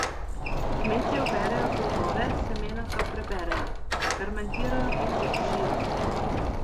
Kmetje oberejo plodove, semena pa preberejo, fermentirajo in posušijo.